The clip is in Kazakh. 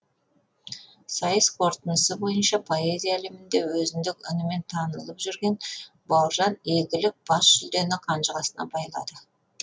сайыс қорытындысы бойынша поэзия әлемінде өзіндік үнімен танылып үлгерген бауыржан игілік бас жүлдені қанжығасына байлады